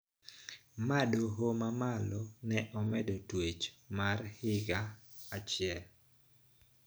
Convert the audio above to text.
Ma doho ma malo ne omedo twech mare gi higa achiel